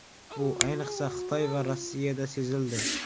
Bu, ayniqsa, Xitoy va Rossiyada sezildi.